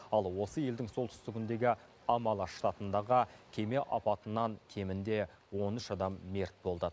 ал осы елдің солтүстігіндегі амала штатындағы кеме апатынан кемінде он үш адам мерт болды